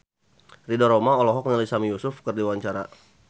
Ridho Roma olohok ningali Sami Yusuf keur diwawancara